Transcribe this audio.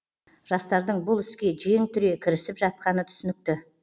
жастардың бұл іске жең түре кірісіп жатқаны түсінікті